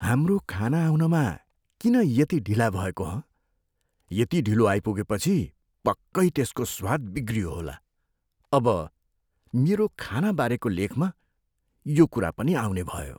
हाम्रो खाना आउनमा किन यति ढिला भएको हँ? यति ढिलो आइपुगेपछि पक्कै त्यसको स्वाद बिग्रियो होला। अब मेरो खाना बारेको लेखमा यो कुरा पनि आउनेभयो।